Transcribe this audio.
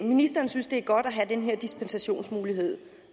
ministeren synes det er godt at have den her dispensationsmulighed